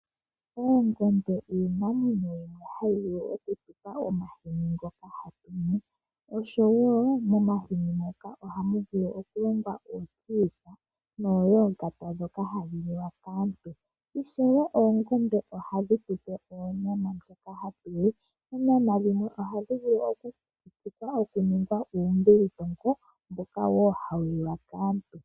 Oongombe iinamwenyo hoka hakuzi omahini noshowo omagadhi goongombe ngoka haga liwa kaantu. Oongombe ohadhi tupe onyama, dhimwe ohadhi vulu oku kukutikwa dhiningwe uumbilitongo mboka wo hawuliwa kaantu.